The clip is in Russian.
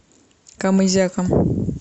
камызяком